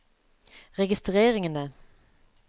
registreringene